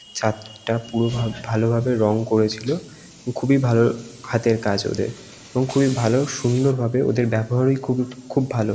ছাদটা পুরো ভাগ ভালোভাবে রং করেছিল। খুবই ভালো হাতের কাজ ওদের এবং খুবই ভালো সুন্দরভাবে ওদের ব্যবহারই খুবই খুব ভালো।